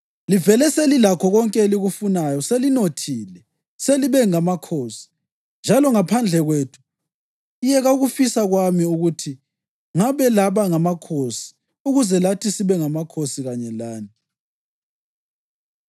Livele selilakho konke elikufunayo! Selinothile! Selibe ngamakhosi, njalo ngaphandle kwethu! Yeka ukufisa kwami ukuthi ngabe laba ngamakhosi ukuze lathi sibe ngamakhosi kanye lani!